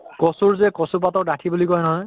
কচুৰ যে কচু পাতৰ দাঁঠি বুলি কয় নহয়